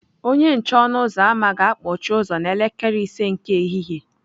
Onye nche ọnụ ụzọ ámá ga-akpọchi ụzọ n'elekere ise nke ehihie.